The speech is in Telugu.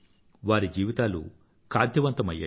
వారి జీవితాలు కాంతివంతమయ్యాయి